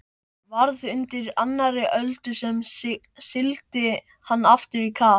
Varð undir annarri öldu sem sigldi hann aftur í kaf.